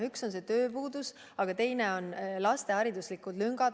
Üks on tööpuudus, teine on lüngad laste hariduses.